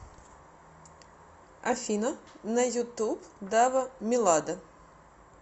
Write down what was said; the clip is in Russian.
афина на ютуб дава милада